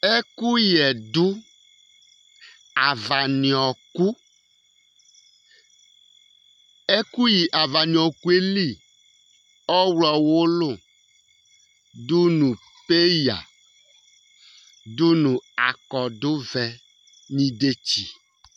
Ɛkʋyɛ du avani ɔku yɛ li Ɔwlɔ wʋlu dʋnu peya dʋnu akɔdu vɛ nʋ idetsi